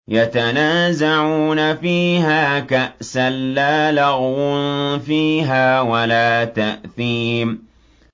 يَتَنَازَعُونَ فِيهَا كَأْسًا لَّا لَغْوٌ فِيهَا وَلَا تَأْثِيمٌ